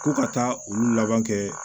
Ko ka taa olu laban kɛ